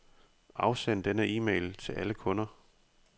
Afsend denne e-mail til alle kunder.